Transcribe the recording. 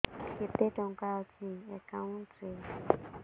କେତେ ଟଙ୍କା ଅଛି ଏକାଉଣ୍ଟ୍ ରେ